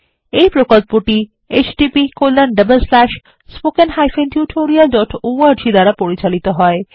এই প্রকল্পটি httpspoken tutorialorg দ্বারা পরিচালিত হয়